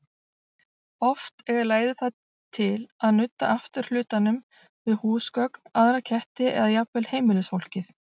Oft eiga læður það til að nudda afturhlutanum við húsgögn, aðra ketti eða jafnvel heimilisfólkið.